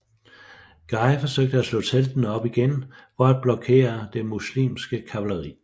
Guy forsøgte at slå teltene op igen for at blokere det muslimske kavaleri